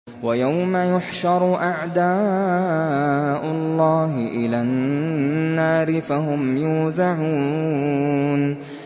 وَيَوْمَ يُحْشَرُ أَعْدَاءُ اللَّهِ إِلَى النَّارِ فَهُمْ يُوزَعُونَ